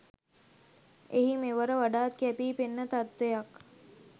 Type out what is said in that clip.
එහි මෙවර වඩාත් කැපී පෙනෙන තත්ත්වයක්